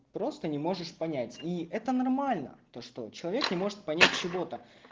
просто не можешь понять и это нормально то что человек не может понять чего-то